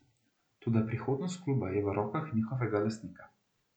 Toda prihodnost kluba je v rokah njihovega lastnika.